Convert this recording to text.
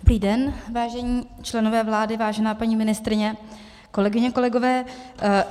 Dobrý den, vážení členové vlády, vážená paní ministryně, kolegyně, kolegové.